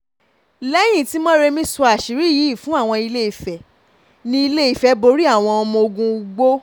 lẹ́yìn tí mórèmi sọ àṣírí yìí fún àwọn ilé ìfẹ́ ní ilé ìfẹ́ borí àwọn ọmọ ogun ugbó